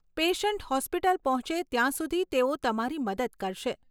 Patient hospital પહોંચે ત્યાં સુધી તેઓ તમારી મદદ કરશે.